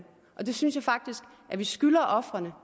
og det synes jeg faktisk at vi skylder ofrene